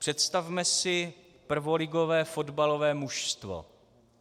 Představme si prvoligové fotbalové mužstvo.